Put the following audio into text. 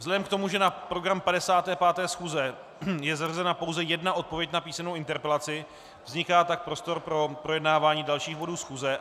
Vzhledem k tomu, že na program 55. schůze je zařazena pouze jedna odpověď na písemnou interpelaci, vzniká tak prostor pro projednávání dalších bodů schůze.